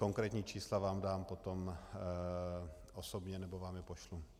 Konkrétní čísla vám dám potom osobně nebo vám je pošlu.